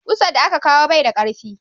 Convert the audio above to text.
ƙusa da ka kawo bai da karfi